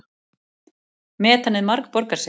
Metanið margborgar sig